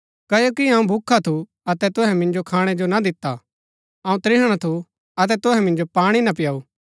क्ओकि अऊँ भूखा थु अतै तुहै मिन्जो खाणै जो ना दिता अऊँ त्रिहणा थु अतै तुहै मिन्जो पाणी ना पिआऊ